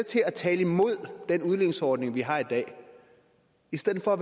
til at tale imod den udligningsordning vi har i dag i stedet for